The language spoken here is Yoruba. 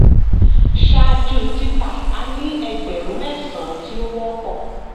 ṣáájú tita a ní ẹgbẹ̀rún mẹ́sàn-án ti ó wọ́pọ̀.